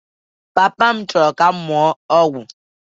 Papa m chọrọ ka m mụọ ọgwụ